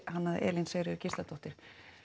hannaði Elín Sigríður Gísladóttir